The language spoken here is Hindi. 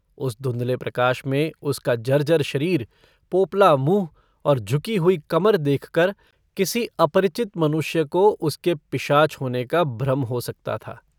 उस धुंधले प्रकाश में उसका जर्जर शरीर पोपला मुँह और झुकी हुई कमर देखकर किसी अपरिचित मनुष्य को उसके पिशाच होने का भ्रम हो सकता था।